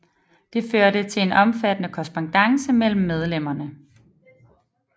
Det førte til en omfattende korrespondance mellem medlemmerne